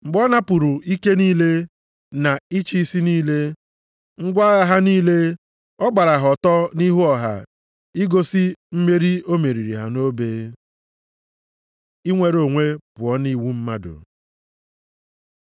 Mgbe ọ napụrụ ike niile, na ịchị isi niile, ngwa agha ha niile, ọ gbara ha ọtọ nʼihu ọha, igosi mmeri o meriri ha nʼobe. Inwere onwe pụọ nʼiwu mmadụ